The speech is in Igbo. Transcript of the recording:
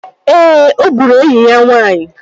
Ee, ọ gburu enyi ya nwaanyị